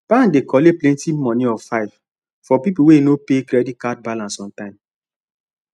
bank dey collect plenty money of 5 for people wey no pay credit card balnace on time